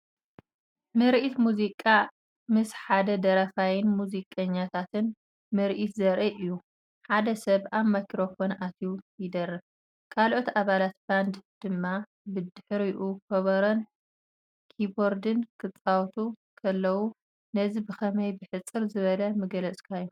ምርኢት ሙዚቃ ምስ ሓደ ደራፋይን ሙዚቀኛታትን ምርኢት ዘርኢ እዩ። ሓደ ሰብ ኣብ ማይክሮፎን ኣትዩ ይደርፍ፡ ካልኦት ኣባላት ባንድ ድማ ብድሕሪኡ ከበሮን ኪቦርድን ክጻወቱ ከለዉ። ነዚ ብኸመይ ብሕጽር ዝበለ ምገለጽካዮ፧